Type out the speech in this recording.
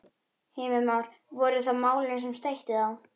Heimir Már: Voru það málin sem steytti á?